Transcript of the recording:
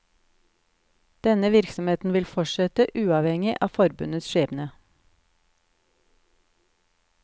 Denne virksomheten vil fortsette, uavhengig av forbundets skjebne.